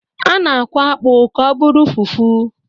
A na-akwọ akpụ ka ọ bụrụ fufu.